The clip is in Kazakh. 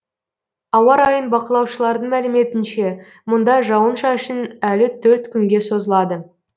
ауа райын бақылаушылардың мәліметінше мұнда жауын шашын әлі төрт күнге созылады